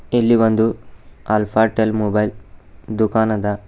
ಇಲ್ಲಿ ಬಂದು Alphatel mobile ದುಃಖಾನದ .